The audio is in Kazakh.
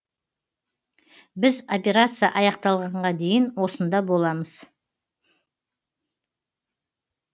біз операция аяқталғанға дейін осында боламыз